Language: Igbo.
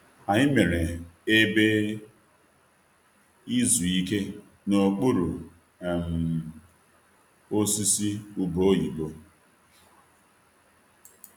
Anyị mere ebe izu ike n'okpuru um osisi ube oyibo.